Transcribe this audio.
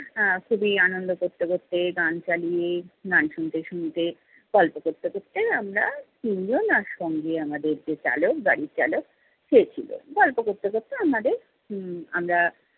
আহ খুবই আনন্দ করতে করতে গান চালিয়ে, গান শুনতে শুনতে, গল্প করতে করতে আমরা তিনজন আর সঙ্গে আমাদের যে চালক গাড়ি চালক সে ছিল। গল্প করতে করতে আমাদের উম আমরা